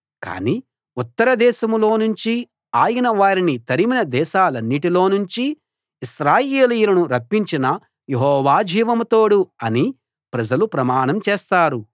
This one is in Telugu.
కానీ ఉత్తరదేశంలో నుంచి ఆయన వారిని తరిమిన దేశాలన్నిటిలో నుంచి ఇశ్రాయేలీయులను రప్పించిన యెహోవా జీవం తోడు అని ప్రజలు ప్రమాణం చేస్తారు